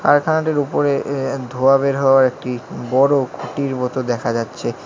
কারখানাটির উপরে এ এ ধোঁয়া বের হওয়ার একটি বড় খুঁটির মতো দেখা যাচ্ছে।